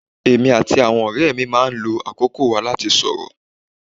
Èmi àti àwọn ọ̀rẹ́ mi máa ń lo àkókò wa láti sorọ́